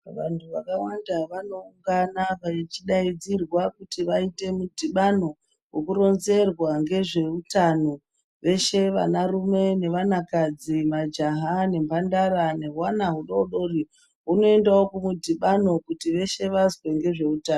Vantu vakawanda vanongana vachidaidzirwa kuti vaite mudhibano wekurinzerwa ngezveutano veshe vana rume vevana kadzi majaha nemhandara nehwana hudodori hunooendawo kumudhibano kuti veshe vazwe ngezveuta.